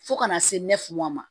Fo kana se ne fu ma